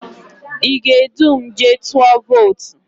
Ị ga-edu m jee tụọ votu?